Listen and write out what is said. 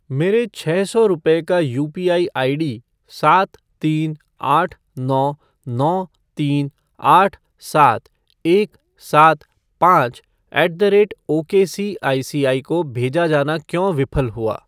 मेरे छः सौ रुपये का यूपीआई आईडी सात तीन आठ नौ नौ तीन आठ सात एक सात पाँच ऐट द रेट ओकेसीआईसीआई को भेजा जाना क्यों विफल हुआ?